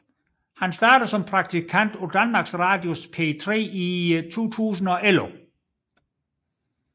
Han startede som praktikant på Danmarks Radios P3 i 2011